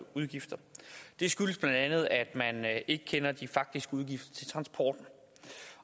udgifter det skyldes bla at man ikke kender de faktiske udgifter til transporten